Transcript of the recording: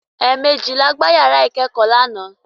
Ẹ̀mẹjì la gbá yàrá ìkẹ́kọ̀ọ́ lánàá.